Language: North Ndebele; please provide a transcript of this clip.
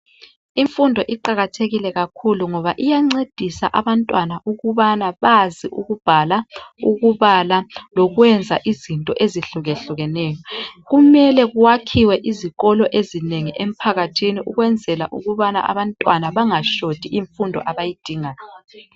Imfundo iqakathekile kakhulu ngoba iyancedisa abantwana ukubana bazi ukubhala, ukubala lokwenza izinto ezihlukehlukeneyo, kumele kuwakhiwe izikolo ezinengi emphakathini ukwenzela ukubana abantwana bangashoti imfundo abayidingayo.